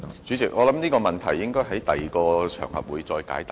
主席，我相信這問題應在其他場合解答。